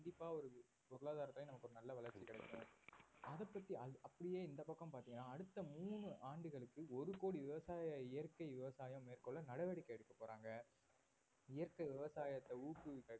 கண்டிப்பா ஒரு பொருளாதாரத்திலயும் நமக்கு நல்ல ஒரு வளர்ச்சி கிடைக்கும் அத பத்தி அ~ அப்படியே இந்த பக்கம் பார்த்தீங்கன்னா அடுத்த மூணு ஆண்டுகளுக்கு ஒரு கோடி விவசாய இயற்கை விவசாயம் மேற்கொள்ள நடவடிக்கை எடுக்க போறாங்க இயற்கை விவசாயத்தை ஊக்குவிக்க